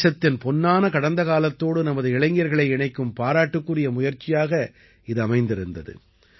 தேசத்தின் பொன்னான கடந்த காலத்தோடு நமது இளைஞர்களை இணைக்கும் பாராட்டுக்குரிய முயற்சியாக இது அமைந்திருந்தது